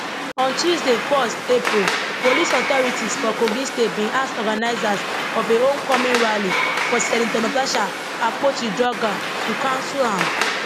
on tuesday 1 april police authorities for kogi state bin ask organisers of a homecoming rally for senator natasha akpotiuduaghan to cancel am